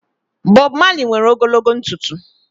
Bob Malị nwere ogologo ntụtụ